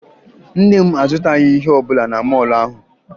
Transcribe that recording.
Nne m azụtaghị ihe ọbụla na mọọlụ ahụ